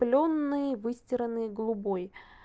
плённый выстиранный голубой